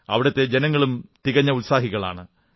അവിടത്തെ ജനങ്ങളും തികഞ്ഞ ഉത്സാഹികളാണ്